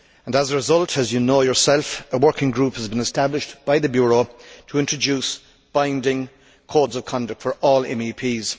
As a result, as you know yourself, a working group has been established by the Bureau to introduce binding codes of conduct for all MEPs.